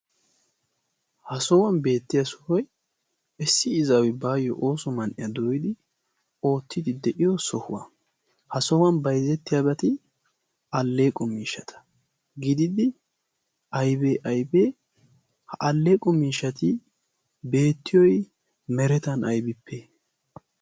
ha sohuwan beettiya sohoi issi izaawi baayyo ooso man7iyaa dooyidi oottidi de7iyo sohuwa. ha sohuwan baizettiyaagati alleeqo miishata gididdi aibee aibee? ha alleeqo miishati beettiyoi meretan aibippe?